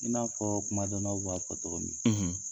I n'a fɔ kumadɔnnaw b'a fɔ cogo min na